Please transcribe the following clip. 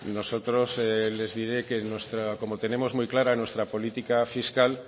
nosotros les diré que como tenemos muy clara nuestra política fiscal